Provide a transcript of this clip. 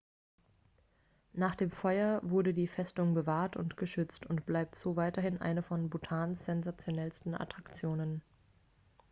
nach dem feuer wurde die festung bewahrt und geschützt und bleibt so weiterhin eine von bhutans sensationellsten attraktionen